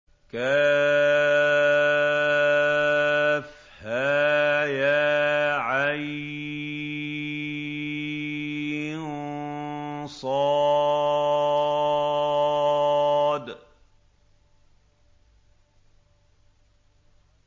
كهيعص